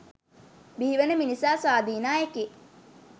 බිහිවන මිනිසා ස්වාධීන අයෙකි.